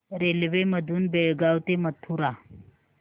railway मधून बेळगाव ते मथुरा